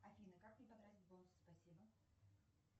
афина как мне потратить бонусы спасибо